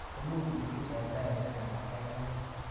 Imuch isis eng saishek alak kaikai?